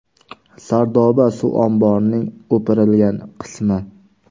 Sardoba suv omborining o‘pirilgan qismi.